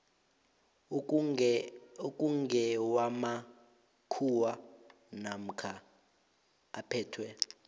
okungewamakhuwa namkha aphethwe